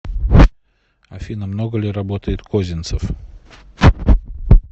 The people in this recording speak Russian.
афина много ли работает козинцев